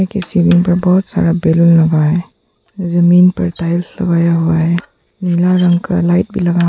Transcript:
जिसके सीलिंग पर बहुत सारा बलून्स लगा हुआ है। जमीन पर टाइल्स लगाया हुआ है। नीला रंग का लाइट भी लगा है --